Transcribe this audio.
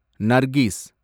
Nargis